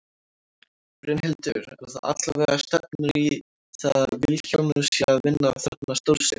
Brynhildur: En það allavega stefnir í það að Vilhjálmur sé að vinna þarna stórsigur?